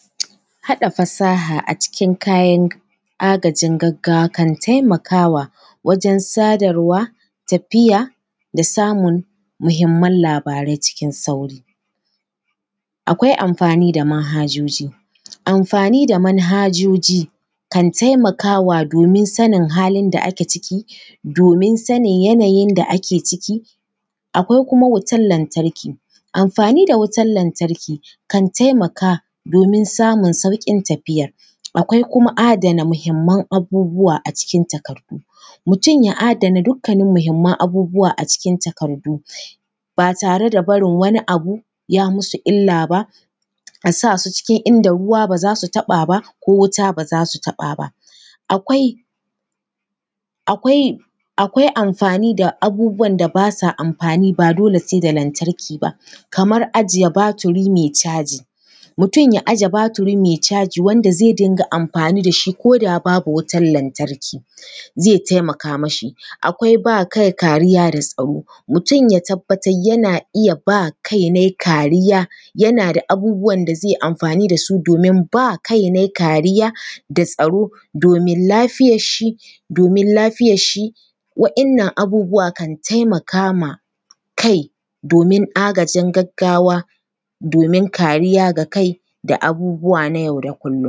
haɗa fasaha a cikin kayan agajin gaggawa kan taimakawa wajen sadarwa, tafiya da samun muhimman labarai cikin sauri. Akwai amfani da manhajoji, amfani da manhajoji kan taimakawa domin sanin halin da ake ciki, domin sanin yanayin da ake ciki. Akwai kuma wutar lantarki, amfani da wutar lantarki kan taimaka domin samun sauƙin tafiya. Akwai kuma adana muhimman abubuwa a cikin takardu, mutum ya adana dukan muhimman abubuwa a cikin takardu, ba tare da barin wani abu ya mashi illa ba, a sa su cikin inda ruwa ba za su taɓa ba, ko wuta ba za su taɓa ba. Akwai… Akwai… akwai amfani da abubuwan da ba sa amfani, ba dole sai da lantarki ba, kamar ajiye baturi mai caji. Mutum ya aje baturi mai caji, wanda zai dinga amfani da shi ko da babu wutar lantarki, zai taimaka mashi. Akwai ba kai kariya da tsaro, mutum ya tabbatar yana iya ba kainai kariya, yana da abubuwan da zai yi amfani da su domin ba kainai kariya da tsaro domin lafiyarshi, domin lafiyarshi, waɗannan abubuwa kan taimaka ma kai domin agajin gaggawa, domin kariya ga kai da abubuwa na yau da kullum.